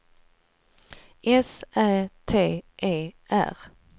S Ä T E R